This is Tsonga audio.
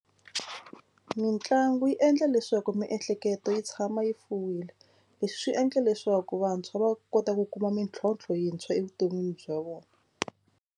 Mitlangu yi endla leswaku miehleketo yi tshama yi fuwile. Leswi swi endla leswaku vantshwa va kota ku kuma mintlhontlho yintshwa evuton'wini bya vona.